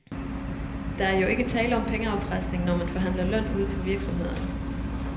Der er jo ikke tale om pengeafpresning, når man forhandler løn ude på virksomhederne.